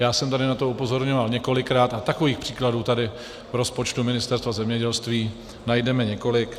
Já jsem tady na to upozorňoval několikrát a takových příkladů tady v rozpočtu Ministerstva zemědělství najdeme několik.